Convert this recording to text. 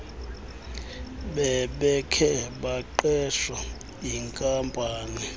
bebekhe baqeshwa yinkampani